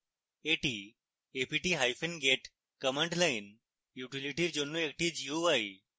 এটি aptget command line utility জন্য একটি gui